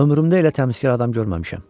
Ömrümdə elə təmizkar adam görməmişəm.